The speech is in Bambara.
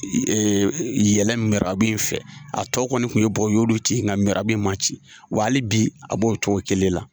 Yɛlɛ mirabu in fɛ a tɔ kɔni kun ye bɔgɔ ye o y'olu ci nga mirabu in ma ci wa hali bi a b'o cogo kelen la.